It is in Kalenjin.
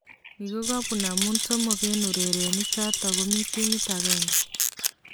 Ni kokopun amu somok eng' urerenik chotok komi timit agenge